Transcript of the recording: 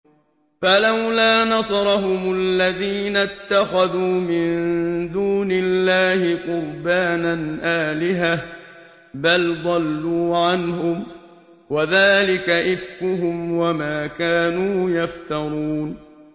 فَلَوْلَا نَصَرَهُمُ الَّذِينَ اتَّخَذُوا مِن دُونِ اللَّهِ قُرْبَانًا آلِهَةً ۖ بَلْ ضَلُّوا عَنْهُمْ ۚ وَذَٰلِكَ إِفْكُهُمْ وَمَا كَانُوا يَفْتَرُونَ